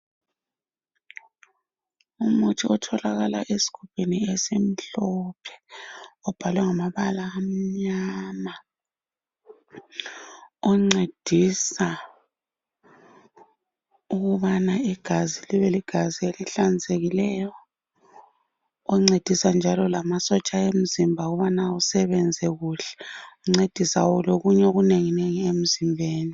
Umuthi otholakala esigubhini esimhlophe, obhalwe ngamabala amnyama, oncedisa ukubana igazi libe ligazi elihlanzekileyo, oncedisa njalo lamasotsha emzimba ukubana usebenze kuhle, uncedisa lokunye okunenginengi emzimbeni.